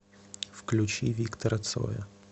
включи виктора цоя